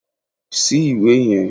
Ṣí ìwé yan